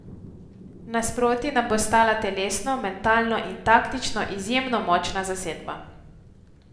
Nasproti nam bo stala telesno, mentalno in taktično izjemno močna zasedba.